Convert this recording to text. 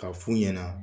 K'a f'u ɲɛna